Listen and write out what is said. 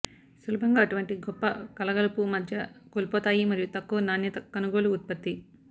సులభంగా అటువంటి గొప్ప కలగలుపు మధ్య కోల్పోతాయి మరియు తక్కువ నాణ్యత కొనుగోలు ఉత్పత్తి